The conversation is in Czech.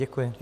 Děkuji.